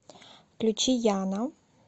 включи яна